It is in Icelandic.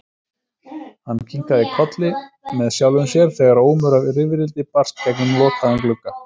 Hann kinkaði kolli með sjálfum sér þegar ómur af rifrildi barst gegnum lokaðan glugga.